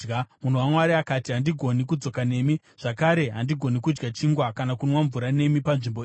Munhu waMwari akati, “Handigoni kudzoka nemi, zvakare handigoni kudya chingwa kana kunwa mvura nemi panzvimbo ino.